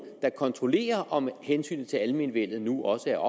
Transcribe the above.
der kontrollerer om hensynet til almenvellet nu også er